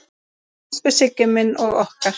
Elsku Siggi minn og okkar.